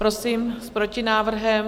Prosím s protinávrhem.